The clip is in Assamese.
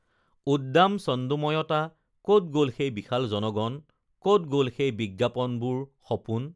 উদ্দাম ছন্দোময়তা ক'ত গ'ল সেই বিশাল জণগণ ক'ত গ'ল সেই বিজ্ঞাপনবোৰ সপোন